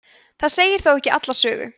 það segir þó ekki alla sögu